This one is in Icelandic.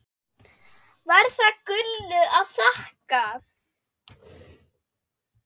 Var það Gullu að þakka.